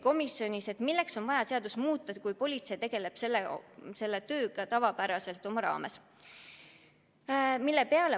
Komisjonis uuriti, milleks on vaja seadust muuta, kui politsei tegeleb selle kõigega ka oma tavapärase töö raames.